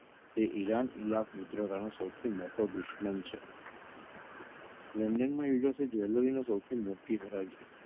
તે ઈરાન અને ઈલાક મિત્રગાનો સૌથી મોટો દુશ્મન છે london માં jewelry સૌથી મોટી હરાજી.